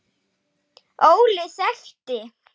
Óli þekkti.